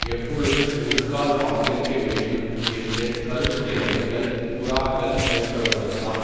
எப்பொழுது ஒருகால் வாக்களிக்கவேண்டும் என்று கருத்துடையவர்கள் புறாக்கள் போன்றவர்களதாம்